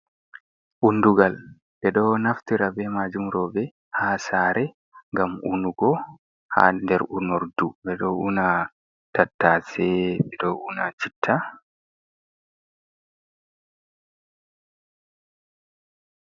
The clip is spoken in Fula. Undugal, ɓe ɗo naftira be maajum roɓe ha saare ngam unugo ha nder unordu, ɓe ɗo una tattaase, ɓe ɗo una chitta.